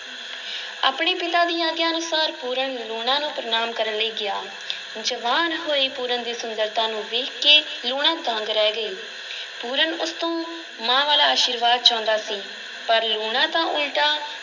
ਆਪਣੇ ਪਿਤਾ ਦੀ ਆਗਿਆ ਅਨੁਸਾਰ ਪੂਰਨ ਲੂਣਾ ਨੂੰ ਪ੍ਰਨਾਮ ਕਰਨ ਲਈ ਗਿਆ, ਜਵਾਨ ਹੋਏ ਪੂਰਨ ਦੀ ਸੁੰਦਰਤਾ ਨੂੰ ਵੇਖਕੇ ਲੂਣਾ ਦੰਗ ਰਹਿ ਗਈ ਪੂਰਨ ਉਸ ਤੋਂ ਮਾਂ ਵਾਲਾ ਅਸ਼ੀਰਵਾਦ ਚਾਹੁੰਦਾ ਸੀ ਪਰ ਲੂਣਾ ਤਾਂ ਉਲਟਾ